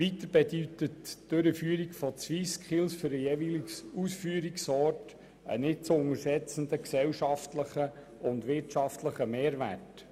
Weiter bedeutet die Durchführung der SwissSkills für den Ausführungsort einen nicht zu unterschätzenden gesellschaftlichen und wirtschaftlichen Mehrwert.